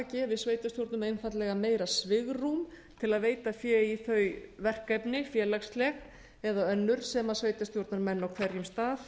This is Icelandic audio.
gefi sveitarstjórnum einfaldlega meira svigrúm til að veita fé í þau verkefni félagsleg eða önnur sem sveitarstjórnarmenn á hverjum stað